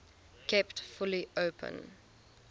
kept fully open